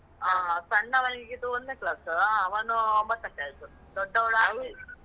ಹ. ಸಣ್ಣವನೀಗಸ ಒಂದ್ನೇ class ಉ. ಅವನು ಒಂಬತ್ತಕ್ಕೆ ಆಯ್ತು. ದೊಡ್ಡವಳ್ ಆರ್ನೆ.